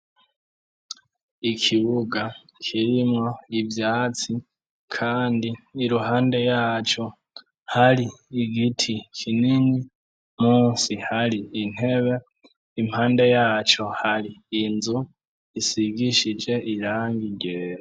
Ikibuga kirimwo ivyatsi, kandi iruhande yaco, hari igiti kinini, munsi hari intebe, impande yaco, hari inzu, isigishije irangi ryera.